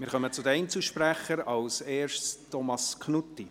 Wir kommen zu den Einzelsprechern, zuerst zu Thomas Knutti.